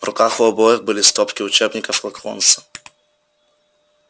в руках у обоих были стопки учебников локонса